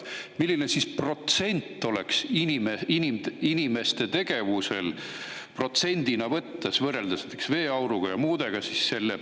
Kui suure osa protsentides moodustab inimeste tegevus kliima soojenemise, õigemini, kasvuhooneefekti tekitamise juures, võrreldes näiteks veeauru ja muuga?